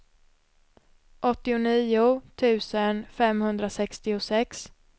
åttionio tusen femhundrasextiosex